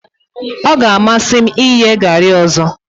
O ga amasi m iye gari ọzọ.